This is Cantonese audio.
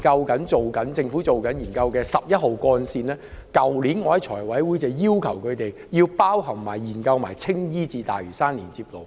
例如政府現正研究的十一號幹線，我去年在財務委員會會議席上已要求政府在研究內包括青衣至大嶼山的連接路。